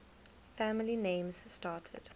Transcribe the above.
family names started